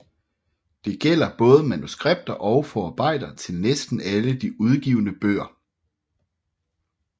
Det gælder både manuskripter og forarbejder til næsten alle de udgivne bøger